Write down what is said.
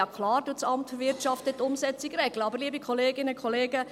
Ja, klar regelt das AWI die Umsetzung, aber, liebe Kolleginnen und Kollegen: